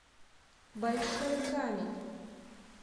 большой камень